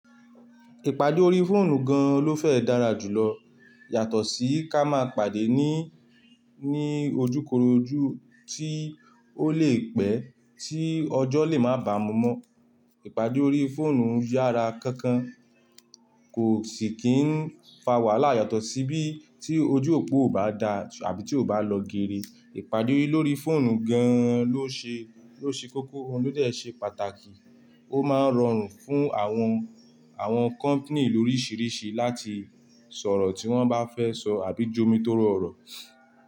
Ìpàdé órí fóònù gan ló fẹ́ e dára jù lọ yàtọ̀ sí ká máa pàdé ní, ní ojúkorojú tí ó lè pẹ́ tí ọjọ́ lè má bàmú mọ. Ipàdé órí fóònù yára kankan kò sì kí n fa wàhálà yàtọ̀ sí bí tí ojú òpó o bá daa àbí tí o bá lọ gere. Ìpàdé lórí fóònù gan ló ṣe, ló ṣe kóko, óún ló dẹ̀ ṣe pàtàkì ó máa n rọrùn fún àwọn, àwọn company lórírìṣìríṣì láti sọ̀rọ̀ tí wọ́n bá fẹ́ sọ àbí jomitóró ọ̀rọ̀